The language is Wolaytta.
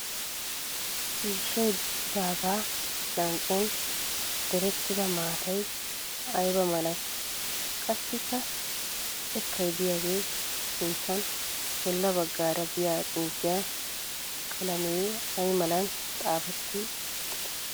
Ciishshay diccidaagaa lanqqen direttida maattay ayibaa malatii? Qassikka xekkay diyagee sinttan bolla baggaara diya xuufiya qalamee ayi malan xaafetti uttidee?